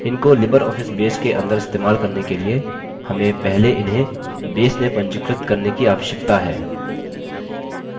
इनको libreoffice base के अंदर इस्तेमाल करने के लिए हमें पहले इन्हें base में पंजीकृत करने की आवश्यकता है